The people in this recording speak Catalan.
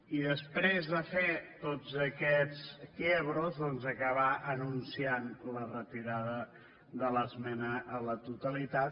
i després de fer tots aquests quiebrosanunciant la retirada de l’esmena a la totalitat